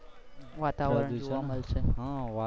વાતાવરણ જોવા માલસે .